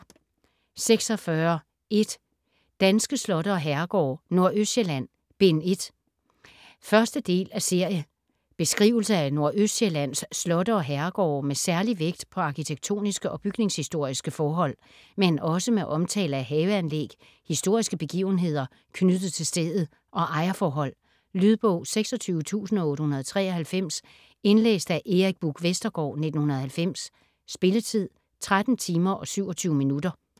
46.1 Danske slotte og herregårde: Nordøstsjælland: Bind 1 1. del af serie. Beskrivelse af Nordøstsjællands slotte og herregårde med særlig vægt på arkitektoniske og bygningshistoriske forhold, men også med omtale af haveanlæg, historiske begivenheder knyttet til stedet og ejerforhold. Lydbog 26893 Indlæst af Erik Buch Vestergaard, 1990. Spilletid: 13 timer, 27 minutter.